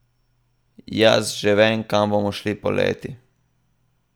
Jaz že vem, kam bomo šli poleti.